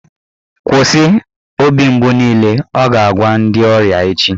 "Kwụsị, obi mgbu niile" Ọ ga-agwa ndị ọrịa echi